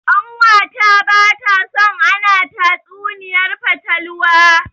Ƙanwata bata so ana tatsuniyar fatalwa.